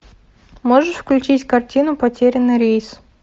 можешь включить картину потерянный рейс